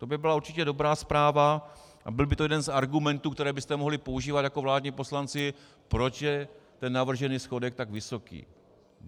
To by byla určitě dobrá zpráva a byl by to jeden z argumentů, které byste mohli používat jako vládní poslanci, proč je ten navržený schodek tak vysoký.